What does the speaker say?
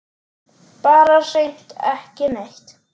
Bara hreint ekki neitt.